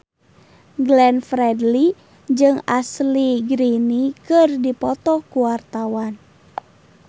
Glenn Fredly jeung Ashley Greene keur dipoto ku wartawan